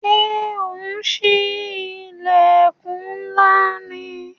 Ṣé ò ń sí ilẹkun ńlá ni?